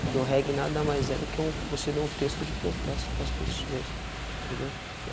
Porque o reggae nada mais é do que um... você ler um texto de protesto para as pessoas, entendeu? Eh